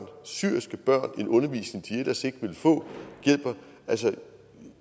give syriske børn en undervisning de ellers ikke ville få altså